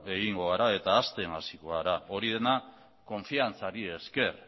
egingo gara eta hazten hasiko gara hori dena konfiantzari esker